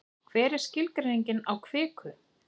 hver er skilgreining á kviku